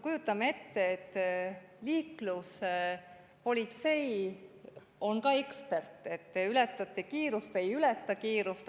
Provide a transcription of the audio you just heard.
Liikluspolitsei on ka ekspert, et kas te ületate kiirust või ei ületa kiirust.